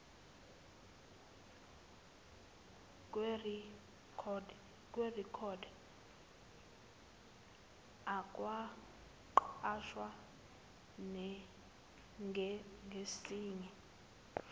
kwirekhodi akwenqatshwa ngesinye